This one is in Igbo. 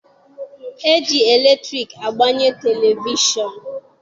E ji latriki agbanye televishọnụ.